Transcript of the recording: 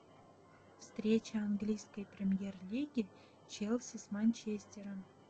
встреча английской премьер лиги челси с манчестером